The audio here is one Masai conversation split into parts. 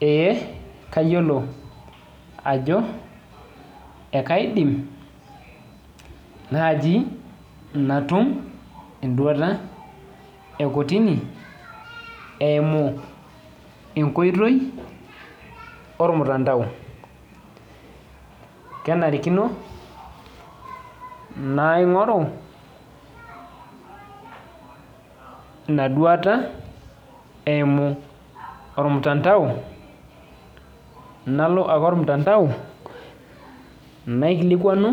Eh kayiolo ajo ekaidim naaji natum enduata e kotini eimu enkoitoi ormutandao kenarikino naing'oru ina duata eimu ormtandao nalo ake ormtandao naikilikuanu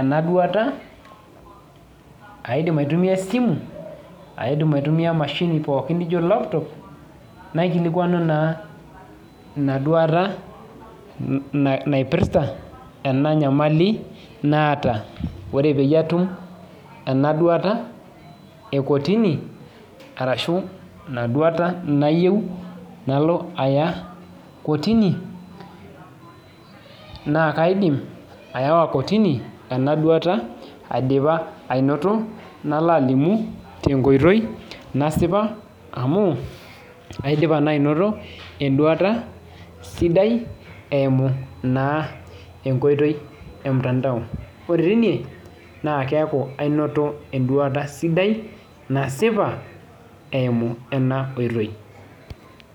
ena duata aidim aitumia esimu aidim aitumia emashini pookin nijio laptop naikilikuanu naa ina duata naipirrta ena nyamali naata ore peyie atum ena duata e kotini arashu ina duata nayieu nalo aya kotini naa kaidim ayawa kotini ena duata aidipa ainoto nalo alimu tenkoitoi nasipa amu aidipa naa ainoto enduata sidai eimu naa enkoitoi emtandao ore teine naa keeku ainoto enduata sidai nasipa eimu ena oitoi.